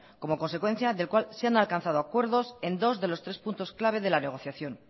como consecuencia del cual se han alcanzado acuerdos en dos de los tres puntos clave de la negociación